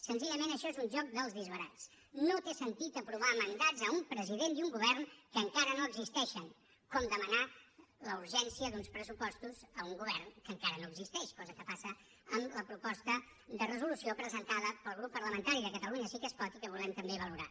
senzillament això és un joc dels disbarats no té sentit aprovar mandats a un president i un govern que encara no existeixen com demanar la urgència d’uns pressupostos a un govern que encara no existeix cosa que passa amb la proposta de resolució presentada pel grup parlamentari de catalunya sí que es pot i que volem també valorar